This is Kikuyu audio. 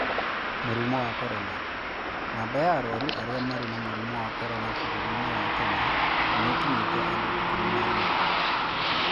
Mũrimũ wa Corona: Namba ya arwaru arĩa marĩ na mũrimũ wa corona vũrũri-inĩ wa Kenya nĩikinyĩtie andu ikumi na erĩ